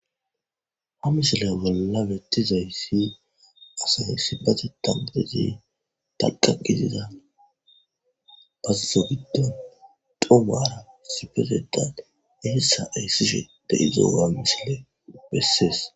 Ha misiley bolla bettizayssi asay ssipatetaatezi taqakizida basso giddon domaara sifezetat iessa eyssishede izowa misile bessees.